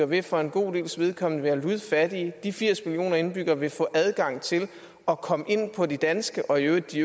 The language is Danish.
vil for en god dels vedkommende være ludfattige de firs millioner indbyggere vil få adgang til at komme ind på det danske og i øvrigt de